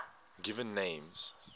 given names